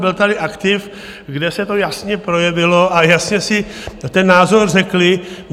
Byl tady aktiv, kde se to jasně projevilo a jasně si ten názor řekli.